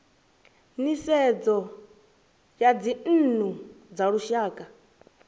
nisedzo ya dzinnu dza lushaka